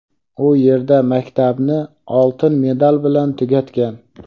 u yerda maktabni oltin medal bilan tugatgan.